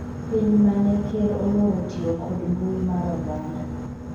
piny mane ker oloro tiyo kod mbui mar oganda